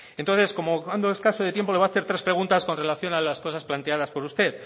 entonces como ando escaso de tiempo le voy a hacer tres preguntas con relación a la cosas planteadas por usted